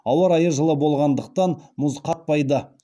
ауа райы жылы болғандықтан мұз қатпайды